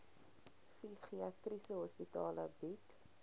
psigiatriese hospitale bied